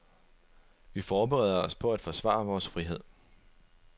Vi forbereder os på at forsvare vores frihed.